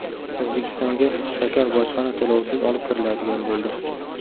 O‘zbekistonga shakar bojxona to‘lovisiz olib kiriladigan bo‘ldi.